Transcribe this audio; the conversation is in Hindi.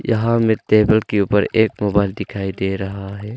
यहां में टेबल के ऊपर मोबाइल दिखाई दे रहा है।